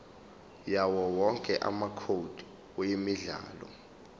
yawowonke amacode emidlalo